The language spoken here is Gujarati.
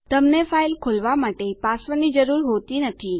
તમને ફાઈલ ખોલવા માટે પાસવર્ડની જરૂર હોતી નથી